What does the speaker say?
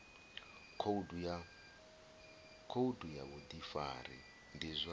khoudu ya vhudifari ndi zwa